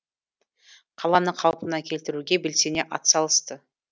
қаланы қалпына келтіруге белсене атсалысты